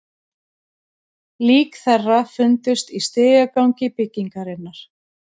Lík þeirra fundust í stigagangi byggingarinnar